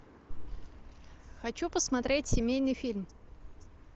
хочу посмотреть семейный фильм